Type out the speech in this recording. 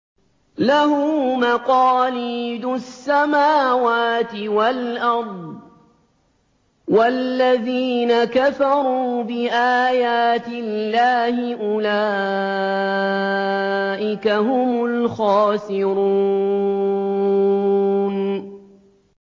لَّهُ مَقَالِيدُ السَّمَاوَاتِ وَالْأَرْضِ ۗ وَالَّذِينَ كَفَرُوا بِآيَاتِ اللَّهِ أُولَٰئِكَ هُمُ الْخَاسِرُونَ